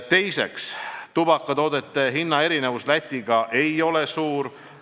Teiseks, tubakatoodete hinna erinevus Läti hindadega võrreldes ei ole suur.